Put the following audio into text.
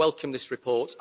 So I welcome this report.